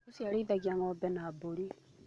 Ũcio arĩithagia ng'ombe na mbũri.